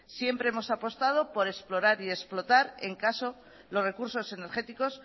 siempre hemos apostado por explorar y explotar en caso los recursos energéticos